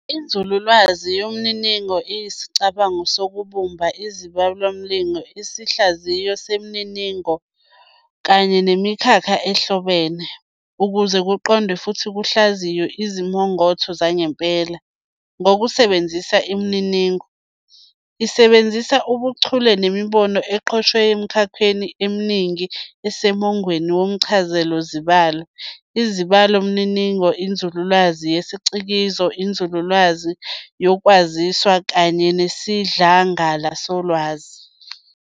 INzululwazi yeMininingo "iyisicabango sokubumba izibalomininingo, isihlaziyo semininingo, kanye nemikhakha ehlobene "ukuze kuqondwe futhi kuhlaziywe izimongotho zangempela" ngokusebenzisa imininingo. Isebenzisa ubuchule nemibono egqotshwe emikhakheni eminingi esemongweni womchazazibalo, izibalomininingo, inzululwazi yesicikizi, iNzululwazi yoKwaziswa, kanye nesidlangala solwazi.